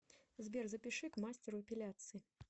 сбер запиши к мастеру эпиляции